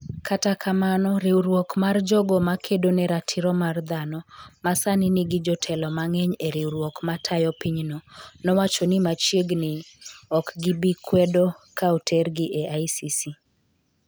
kata kamano riwruok mar jogo ma kedo ne ratiro mar dhano - ma sani nigi jotelo mang’eny e riwruok ma tayo pinyno - nowacho ni machiegni ni ok gibi kwedo ka otergi e ICC.